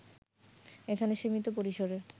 এখানে সীমিত পরিসরে